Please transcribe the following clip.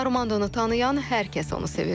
Armandonu tanıyan hər kəs onu sevir.